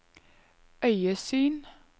øyesyn